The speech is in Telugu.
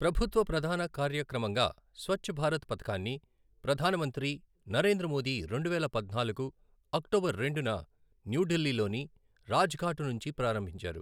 ప్రభుత్వ ప్రధాన కార్యక్రమంగా స్వచ్ఛ్ భారత్ పథకాన్ని ప్రధానమంత్రి నరేంద్ర మోదీ రెండువేల పద్నాలుగు అక్టోబర్ రెండున న్యూఢిల్లీలోని రాజఘాట్ నుంచి ప్రారంభించారు.